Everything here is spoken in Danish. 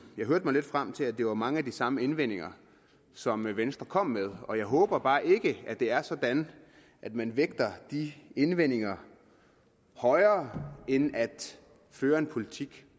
hørte mig lidt frem til at det var mange af de samme indvendinger som venstre kom med og jeg håber bare ikke at det er sådan at man vægter de indvendinger højere end at føre en politik